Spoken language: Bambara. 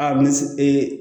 A ni ee